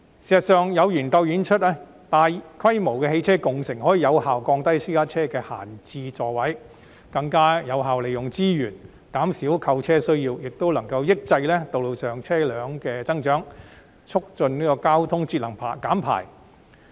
事實上，有研究指出，大規模的汽車共乘可以有效減少私家車的閒置座位，更有效利用資源，減少購車需要，亦能抑制道路上車輛數目的增長，促進交通節能減排。